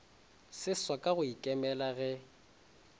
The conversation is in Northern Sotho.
seswa ka go ikemela ge